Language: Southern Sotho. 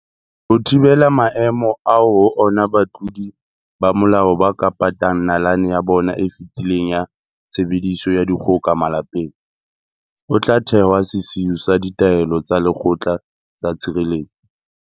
Ho thibela maemo ao ho ona batlodi ba molao ba ka patang nalane ya bona e fetileng ya tshebediso ya dikgoka malapeng, ho tla thehwa sesiu sa ditaelo tsa lekgotla tsa tshireletso.